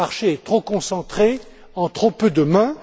Ce marché est trop concentré, en trop peu de mains.